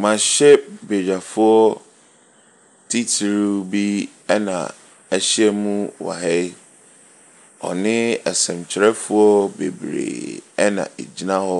Mmerahyɛbadwafoɔ titiri bi na ahyia mu wɔ ha yi. Wɔne nsɛntwerɛfoɔ bebree na ɛgyina hɔ